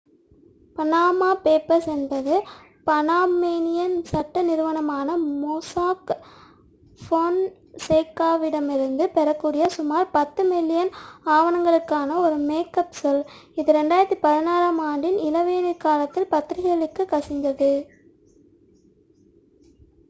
"""Panama papers" என்பது Panamanian சட்ட நிறுவனமான மொசாக் ஃபொன்சேகாவிடமிருந்து பெறக்கூடிய சுமார் பத்து மில்லியன் ஆவணங்களுக்கான ஒரு மேக்அப் சொல் இது 2016-ஆம் ஆண்டின் இளவேனிற்காலத்தில் பத்திரிகைகளுக்குக் கசிந்தது.